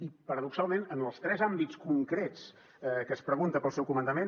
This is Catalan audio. i paradoxalment en els tres àmbits concrets que es pregunta pel seu comandament